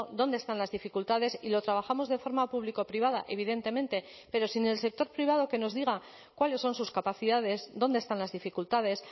dónde están las dificultades y lo trabajamos de forma público privada evidentemente pero sin el sector privado que nos diga cuáles son sus capacidades dónde están las dificultades